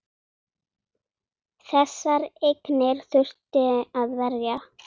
Þessar eignir þurfti að verja.